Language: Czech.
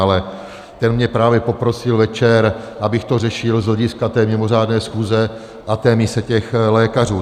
Ale ten mě právě poprosil večer, abych to řešil z hlediska té mimořádné schůze a té mise těch lékařů.